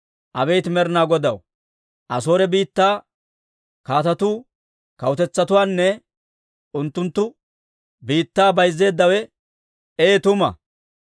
Abeet Med'ina Godaw, Asoore biittaa kaatetuu kawutetsatuwaanne unttunttu biittaa bayzzeeddawe ee tuma.